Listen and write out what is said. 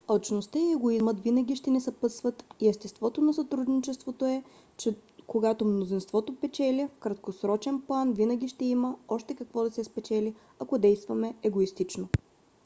алчността и егоизмът винаги ще ни съпътстват и естеството на сътрудничеството е че когато мнозинството печели в краткосрочен план винаги ще има още какво да се спечели ако действаме егоистично